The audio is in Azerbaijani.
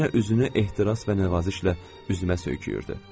Yenə üzünü ehtiras və nəvazişlə üzümə söykəyirdi.